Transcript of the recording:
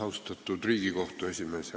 Austatud Riigikohtu esimees!